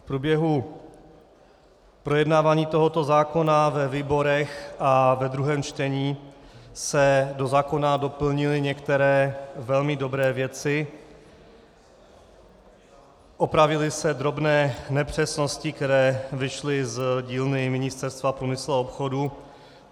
V průběhu projednávání tohoto zákona ve výborech a ve druhém čtení se do zákona doplnily některé velmi dobré věci, opravily se drobné nepřesnosti, které vyšly z dílny Ministerstva průmyslu a obchodu.